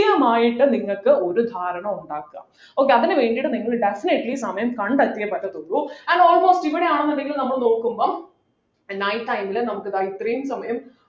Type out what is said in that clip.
ത്യമായിട്ട് നിങ്ങൾക്ക് ഒരു ധാരണ ഉണ്ടാക്കുക okay അതിനു വേണ്ടിട്ടു നിങ്ങൾ definitely സമയം കണ്ടെത്തിയേ പറ്റത്തുള്ളൂ and almost ഇവിടെ ആണെന്ന് ഉണ്ടെങ്കിൽ നമ്മൾ നോക്കുമ്പോൾ night time ലു നമുക്ക് ദാ ഇത്രയും സമയം